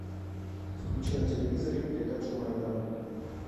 включи на телевизоре передачу майдан